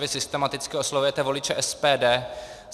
Vy systematicky oslovujete voliče SPD.